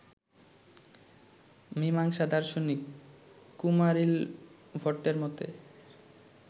মীমাংসা দার্শনিক কুমারিলভট্টের মতে